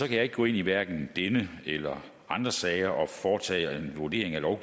jeg ikke gå ind i hverken denne eller andre sager og foretage en vurdering af om